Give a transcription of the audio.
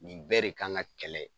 Nin bɛɛ de kan ka kɛlɛ.